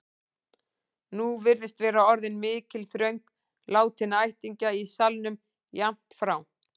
Nú virðist vera orðin mikil þröng látinna ættingja í salnum, jafnt frá